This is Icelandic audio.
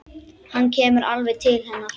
Hann kemur alveg til hennar.